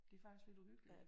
Det er faktisk lidt uhyggeligt